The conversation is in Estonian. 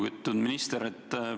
Lugupeetud minister!